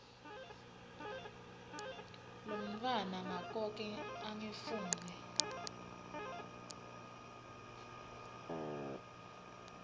lomntfwana ngakoke angifuni